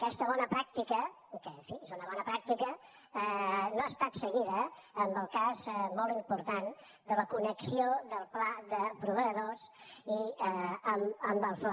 aquesta bona pràctica que en fi és una bona pràctica no ha estat seguida en el cas molt important de la connexió del pla de proveïdors amb el fla